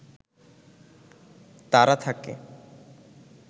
তারা থাকে